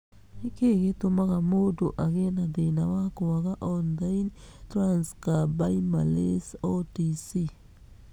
Nĩ kĩĩ gĩtũmaga mũndũ agĩe na thĩna wa kwaga ornithine transcarbamylase (OTC)?